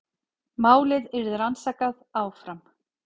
Málið yrði rannsakað áfram